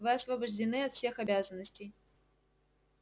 вы освобождены от всех обязанностей